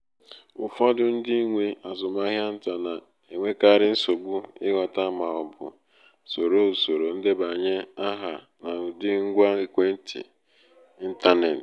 ụfọdụ ndị nwe azụmahịa nta na-enwekarị nsogbu ịghọta ma ọ bụ soro usoro ndebanye aha n’ụdị ngwa ekwentị intaneti